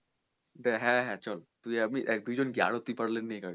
হ্যাঁ হ্যাঁ চল তুই আমি দুজন কি আরও নে কয়েকজন কে পারলে